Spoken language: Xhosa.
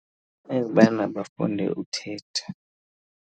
Ekubana bafunde uthetha.